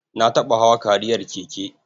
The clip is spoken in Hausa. Na taɓa hawa kariyar keke.